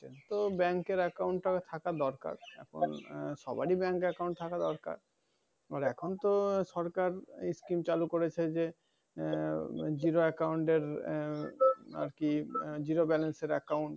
তো bank এর account ট থাকা দরকার। আহ সবারই bank account থাকা দরকার। আবার এখন তো সরকার scheme চালু করেছে যে, আহ zero account এর আহ আরকি zero balance এর account